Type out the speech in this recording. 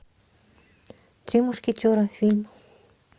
три мушкетера фильм